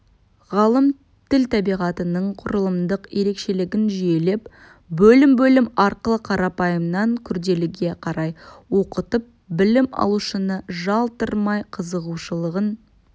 ғалым тіл табиғатының құрылымдық ерекшелігін жүйелеп бөлім-бөлім арқылы қарапайымнан күрделіге қарай оқытып білім алушыны жалықтырмай қызығушылығын